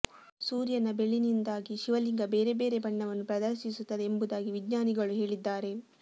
ಸೂರ್ಯನ ಬೆಳಿನಿಂದಾಗಿ ಶಿವಲಿಂಗ ಬೇರೆ ಬೇರೆ ಬಣ್ಣವನ್ನು ಪ್ರದರ್ಶಿಸುತ್ತದೆ ಎಂಬುದಾಗಿ ವಿಜ್ಞಾನಿಗಳು ಹೇಳಿದ್ದಾರೆ